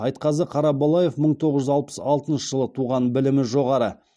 айтқазы қарабалаев мың тоғыз жүз алпыс алтыншы жылы туған білімі жоғары